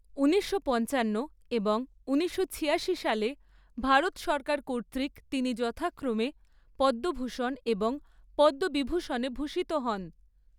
উনিশশো পঞ্চান্ন এবং উনিশশো ছিয়াশি সালে, ভারত সরকার কর্তৃক তিনি যথাক্রমে পদ্মভূষণ এবং পদ্মবিভূষণে ভূষিত হন।